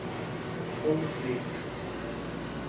Hólmfríður